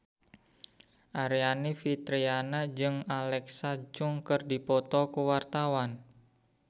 Aryani Fitriana jeung Alexa Chung keur dipoto ku wartawan